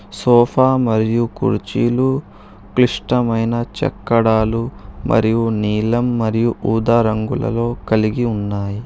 Sofa మరియు కుర్చీలు క్లిష్టమైన చక్కడాలు మరియు నీలం మరియు ఊదా రంగులలో కలిగి ఉన్నాయి.